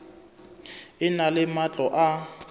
e na le matlo a